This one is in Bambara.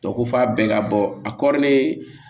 Dɔ ko f'a bɛɛ ka bɔ a kɔrɔlen